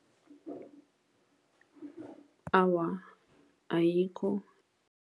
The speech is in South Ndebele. Awa, ayikho.